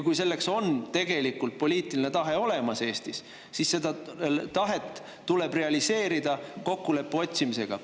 Kui selleks on Eestis tegelikult poliitiline tahe olemas, siis seda tahet tuleb realiseerida kokkuleppe otsimisega.